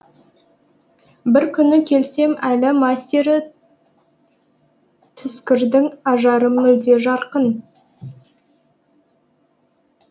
бір күні келсем әлі мастері түскірдің ажары мүлде жарқын